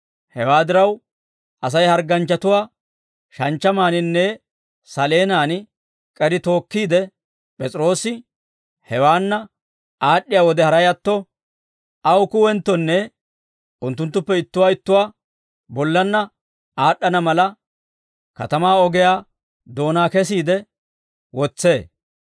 Hewaa diraw, Asay hargganchchatuwaa shanchchamaaninne saleenan k'eri tookkiide, P'es'iroosi hewaanna aad'd'iyaa wode haray atto, aw kuwenttonne unttunttuppe ittuwaa ittuwaa bollanna aad'd'ana mala, katamaa ogiyaa doonaa kessiide wotsee.